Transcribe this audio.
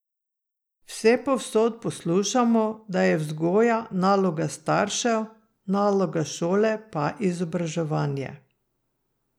Vsepovsod poslušamo, da je vzgoja naloga staršev, naloga šole pa izobraževanje.